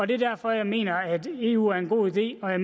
det er derfor jeg mener at eu er en god idé og at